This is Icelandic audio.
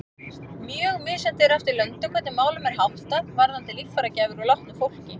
Mjög misjafnt er eftir löndum hvernig málum er háttað varðandi líffæragjafir úr látnu fólki.